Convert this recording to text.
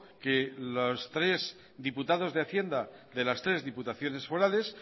que los tres diputados de hacienda de las tres diputaciones forales